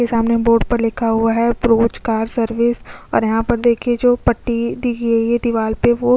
car के सामने board पर लिखा हुआ है बोस्च कार सर्विस और यहाँ पर देखिये जो पट्टी दी गयी है दीवाल पे वो --